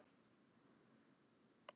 Því megum við ekki gleyma.